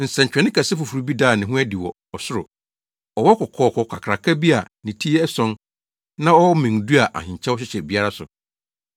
Nsɛnkyerɛnne kɛse foforo bi daa ne ho adi wɔ ɔsoro: Ɔwɔ kɔkɔɔ kakraka bi a ne ti yɛ ason na ɔwɔ mmɛn du a ahenkyɛw hyehyɛ biara so.